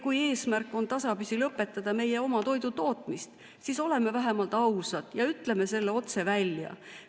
Kui eesmärk on tasapisi lõpetada meie oma toidutootmine, siis oleme vähemalt ausad ja ütleme selle otse välja.